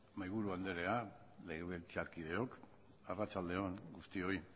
mahaiburu andrea legebiltzarkideok arratsalde on guztioi